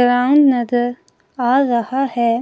Ground नजर आ रहा है।